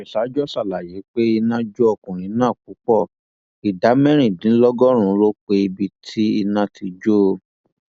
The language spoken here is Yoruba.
oríṣajọ sàlàyé pé iná jó ọkùnrin náà púpọ ìdá mẹrìndínlọgọrùnún ló pe apá ibi tí iná ti jó o